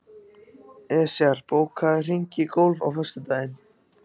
Esjar, bókaðu hring í golf á föstudaginn.